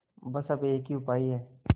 बस अब एक ही उपाय है